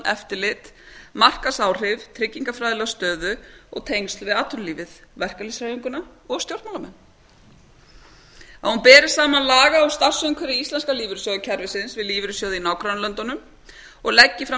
eftirlit markaðsáhrif tryggingafræðilega stöðu og tengsl við atvinnulífið verkaklýðshreyfinguna og stjórnmálamenn að hún beri saman laga og starfsumhverfi íslenska lífeyrissjóðakerfisins við lífeyrissjóði í nágrannalöndunum og leggi fram